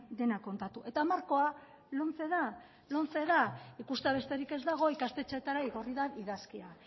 dena kontatu eta markoa lomce da ikustea besterik ez dago ikastetxeetara igorri den idazkia